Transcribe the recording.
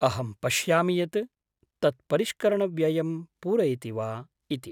अहं पश्यामि यत् तत् परिष्करणव्ययं पूरयति वा इति।